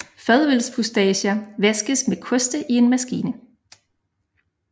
Fadølsfustager vaskes med koste i en maskine